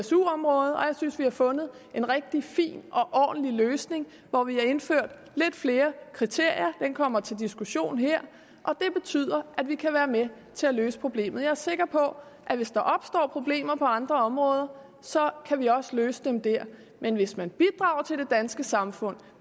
su området og jeg synes at vi har fundet en rigtig fin og ordentlig løsning hvor vi har indført lidt flere kriterier den kommer til diskussion her og det betyder at vi kan være med til at løse problemet jeg er sikker på at hvis der opstår problemer på andre områder kan vi også løse dem der men hvis man bidrager til det danske samfund